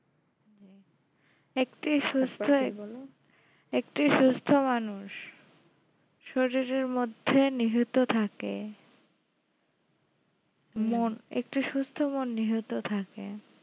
একটাই সুস্থ একটাই সুস্থ মানুষ শরীরের মধ্যে নিহিত থাকে মন একটা সুস্থ মন নিহত থাকে